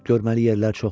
görməli yerlər çoxdur.